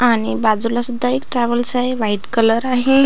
आणि बाजूला सुद्धा एक ट्रॅवलस आहे व्हाइट कलर आहे.